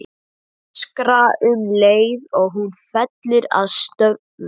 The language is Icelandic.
Öskra um leið og hún fellur að stöfum.